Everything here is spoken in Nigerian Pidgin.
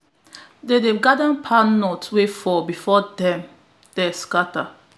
dem dey gather palm nut wey fall before dem dem sactter